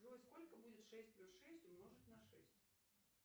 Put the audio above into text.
джой сколько будет шесть плюс шесть умножить на шесть